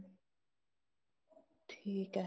ਠੀਕ ਹੈ